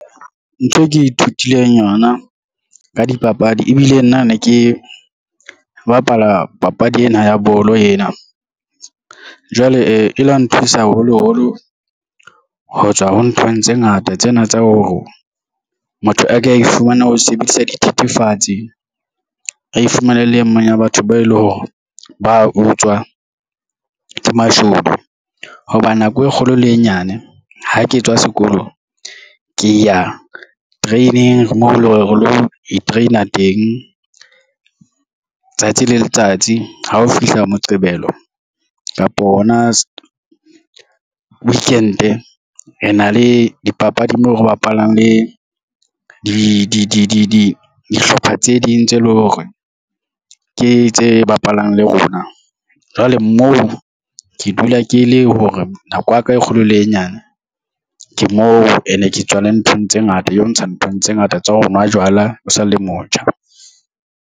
Ntho e ke ithutileng yona ka dipapadi ebile nna ne ke bapala papadi ena ya bolo ena jwale e la nthusa haholoholo ho tswa ho nthong tse ngata. Tsena tsa ho motho a ka e fumana ho sebedisa dithethefatse a ifumane le e mong ya batho ba eleng hore ba utswa ke mashodu hoba nako e kgolo le e nyane ha ke tswa sekolong ke ya training moo eleng hore re lo train-a teng tsatsi le letsatsi ha o fihla moqebelo kapo hona weekend-e re na le dipapadi moo re bapalang le dihlopha tse ding tse leng hore ke tse bapalang le rona. Jwale moo ke dula ke le hore nako ya ka e kgolo le e nyane ke mo and ke tswale nthong tse ngata eo ntsha nthong tse ngata tsa ho nwa jwala o sa le motjha.